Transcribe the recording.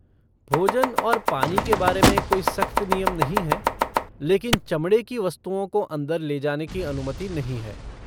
भोजन और पानी के बारे में कोई सख्त नियम नहीं हैं लेकिन चमड़े की वस्तुओं को अंदर ले जाने की अनुमति नहीं है।